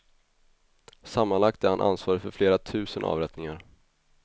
Sammanlagt är han ansvarig för flera tusen avrättningar.